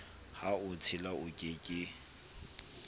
ha o tshila oke ke